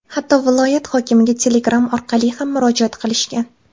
Hatto viloyat hokimiga telegram orqali ham murojaat qilishgan.